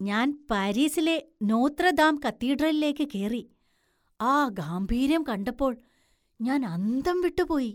ഞാൻ പാരീസിലെ Notre Dame കത്തീഡ്രലിലേക്ക് കേറി, ആ ഗാംഭീര്യം കണ്ടപ്പോൾ ഞാൻ അന്തം വിട്ടു പോയി.